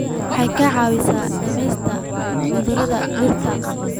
Waxay ka caawisaa dhimista cudurrada dhirta.